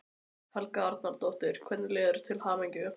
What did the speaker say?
Helga Arnardóttir: Hvernig líður þér, til hamingju?